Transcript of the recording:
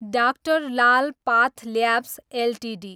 doctor Lal path labs Ltd